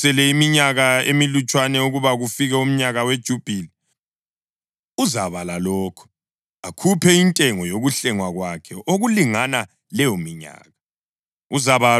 Nxa sekusele iminyaka emilutshwana ukuba kufike umnyaka weJubhili, uzabala lokho, akhuphe intengo yokuhlengwa kwakhe okulingana leyominyaka.